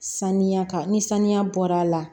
Sanuya kan ni sanuya bɔra a la